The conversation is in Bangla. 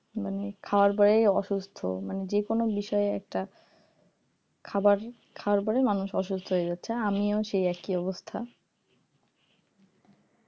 মানে খাওয়ার পরেই অসুস্থ মানে যেকোনো বিষয়ে একটা খাবার খাওয়ার পরে মানুষ অসুস্থ হয়ে যাচ্ছে আমিও সেই একই অবস্থা